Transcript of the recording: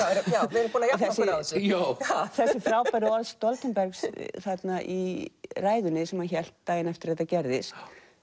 við erum búin að jafna okkur á þessu þessi frábæru orð Stoltenbergs í ræðunni sem hann hélt daginn eftir að þetta gerðist